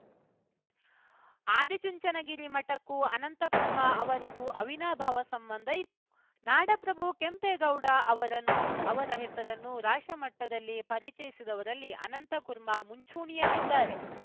ಆದಿಚುಂಚನಗಿರಿ ಮಠಕ್ಕೂ ಅನಂತಕುರ್ಮ ಅವರಿಗೂ ಅವಿನಾಭಾವ ಸಂಬಂಧ ಇತ್ತು ನಾಡಪ್ರಭು ಕೆಂಪೇಗೌಡ ಅವರ ಹೆಸರನ್ನು ರಾಷ್ಟ್ರಮಟ್ಟದಲ್ಲಿ ಪರಿಚಯಿಸಿದವರಲ್ಲಿ ಅನಂತಕುರ್ಮ ಮುಂಚೂಣಿಯಲ್ಲಿದ್ದಾರೆ